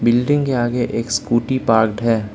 Building के आगे एक स्कूटी पार्क्ड है।